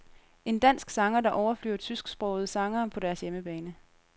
En dansk sanger, der overflyver tysksprogede sangere på deres hjemmebane.